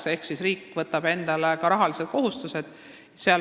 See tähendab, et riik võtab endale sellega ka rahalised kohustused.